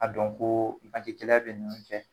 A dɔn ko gɛlɛya bɛ ɲɔn cɛ